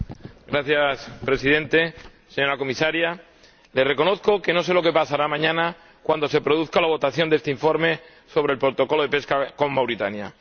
Señor Presidente, señora Comisaria, les reconozco que no sé lo que pasará mañana cuando se produzca la votación de este informe sobre el Protocolo de pesca con Mauritania.